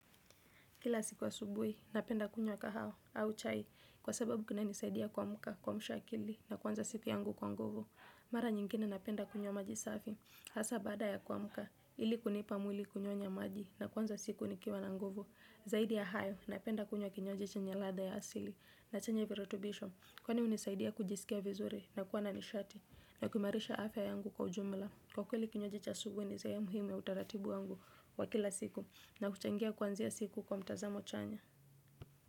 Kila siku asubuhi, napenda kunywa kahawa, au chai, kwa sababu kina nisaidia kuamka, kuamsha akili, na kwanza siku yangu kwa nguvu. Mara nyingine napenda kunywa maji safi, hasa baada ya kuamka, ili kunipa mwili kunyonya maji, na kuanza siku nikiwa na nguvu. Zaidi ya hayo, napenda kunywa kinywaji chenye ladha ya asili, na chenye virutubisho, kwani unisaidia kujisikia vizuri, na kuwa na nishati, na kuhimarisha afya yangu kwa ujumla. Kwa kweli kinywaji cha asubuhi ni sehemu hii na utaratibu wangu wa kila siku na huchangia kuanzia siku kwa mtazamo chanya.